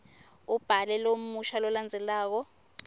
ubhale lomusho lolandzelako